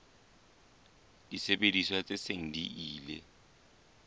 disebediswa tse seng di ile